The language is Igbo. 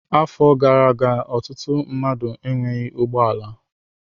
Afọ gara aga ọtụtụ mmadụ enweghị ụgbọ ala.